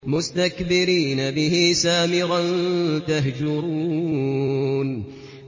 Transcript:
مُسْتَكْبِرِينَ بِهِ سَامِرًا تَهْجُرُونَ